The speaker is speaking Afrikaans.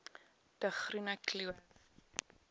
de groene kloof